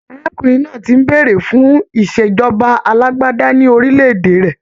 Arákùnrin náà ti ń béèrè fún ìṣèjọba alágbádá ní orílẹ̀-èdè rẹ.